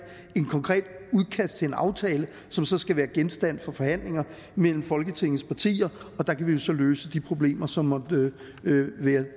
konkret udkast til en aftale som så skal være genstand for forhandlinger mellem folketingets partier og der kan vi jo så løse de problemer som måtte være